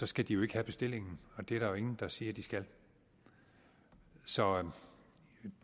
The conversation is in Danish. skal de jo ikke have bestillingen det er der ingen der siger de skal så